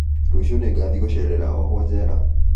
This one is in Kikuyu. Rũciũ nĩngathiĩ gũcerera ohwo jera